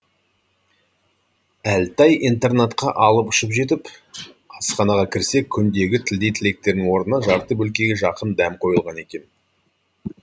әлтай интернатқа алып ұшып жетіп асханаға кірсе күндегі тілдей тіліктердің орнына жарты бөлкеге жақын дәм қойылған екен